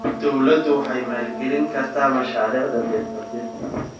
Dawladdu waxay maalgelin kartaa mashaariicda dhirta dhirta.